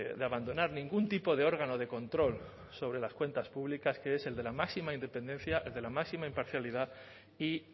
de abandonar ningún tipo de órgano de control sobre las cuentas públicas que es el de la máxima independencia el de la máxima imparcialidad y